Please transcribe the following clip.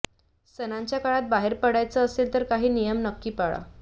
सणाच्या काळात बाहेर पडायचं असेल तर काही नियम नक्की पाळा